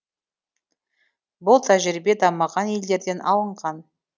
бұл тәжірибе дамыған елдерден алынған